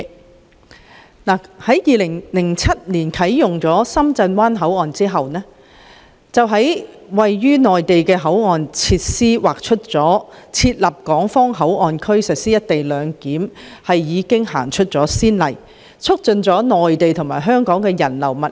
當深圳灣口岸於2007年啟用時，當局在位於內地的口岸設施劃設港方口岸區實施"一地兩檢"，為有關安排立下先例，促進了內地與香港之間的人流物流。